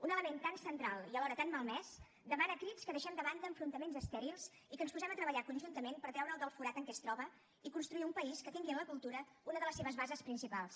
un element tan central i alhora tan malmès demana a crits que deixem de banda enfrontaments estèrils i que ens posem a treballar conjuntament per treure’l del forat en què es troba i construir un país que tingui en la cultura una de les seves bases principals